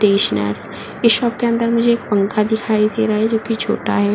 Stationers इस shop के अंदर मुझे एक पंखा दिखाई दे रहा है जोकि छोटा है।